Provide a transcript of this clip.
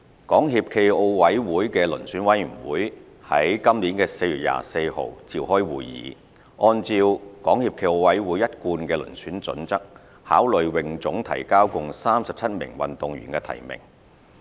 港協暨奧委會的遴選委員會於今年4月24日召開會議，按照港協暨奧委會一貫的遴選準則，考慮泳總提交共37名運動員的提名。